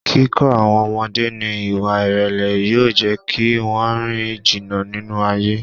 Kíkọ́ àwọn ọmọdé ní Ìwà ìrèlè yóò jẹ́ kí wón rìn jìnnà nínú ayé.